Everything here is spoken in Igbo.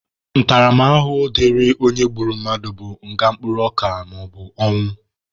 Ntaramahụhụ dịrị onye gburu mmadụ bụ nga mkpụrụ ọka maọbụ ọnwụ.